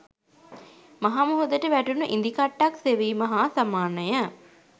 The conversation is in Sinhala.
මහ මුහුදට වැටුණු ඉදිකට්ටක් සෙවීම හා සමානය